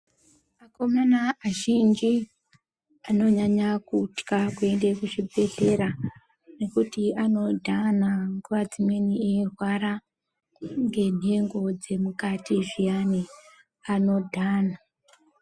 Akomana azhinji anonyanya kutya kuende kuzvibhedhlera nekuti anodhana ,nguwa dzimweni eirwara ngenhengo dzemukati zviyani, anodhana.